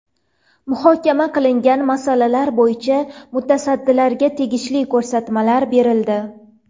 Muhokama qilingan masalalar bo‘yicha mutasaddilarga tegishli ko‘rsatmalar berildi.